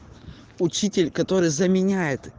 учитель который заменяет